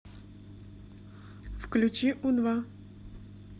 включи у два